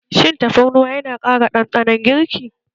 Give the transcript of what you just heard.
Shin tafarnuwa yana ƙara ɗanɗanon girki?